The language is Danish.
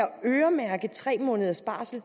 øremærke tre måneders barsel